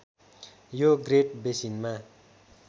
यो ग्रेट बेसिनमा